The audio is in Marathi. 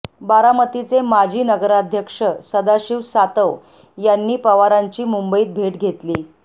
बारामतीचे माजी नगराध्यक्ष सदाशिव सातव यांनी पवारांची मुंबईत भेट घेतली